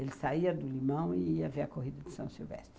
Ele saía do Limão e ia ver a Corrida de São Silvestre.